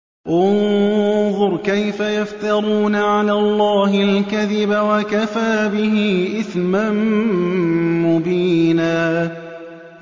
انظُرْ كَيْفَ يَفْتَرُونَ عَلَى اللَّهِ الْكَذِبَ ۖ وَكَفَىٰ بِهِ إِثْمًا مُّبِينًا